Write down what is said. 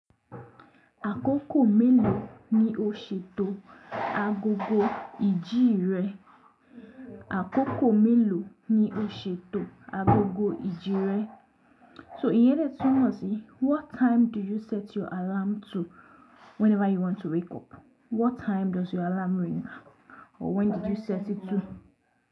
Àkókò mélòó ni o ṣètò agogo ìjí rẹ? Àkókò mélòó ni o ṣètò agogo ìjí rẹ? So ìyẹn ni a tún mọ̀ sí what time do you set your alarm to whenever you want to wake up? What time does your alarm ring? Or when did you set it to?